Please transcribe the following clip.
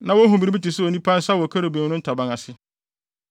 (Na wohu biribi te sɛ onipa nsa wɔ kerubim no ntaban ase.)